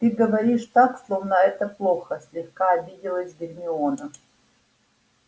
ты говоришь так словно это плохо слегка обиделась гермиона